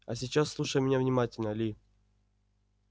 а сейчас слушай меня внимательно ли